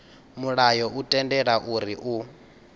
mulayo u tendela uri u